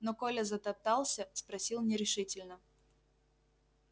но коля затоптался спросил нерешительно